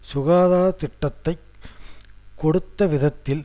சுகாதார திட்டத்தை கொடுத்த விதத்தில்